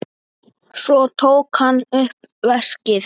Svo tók hann upp veskið.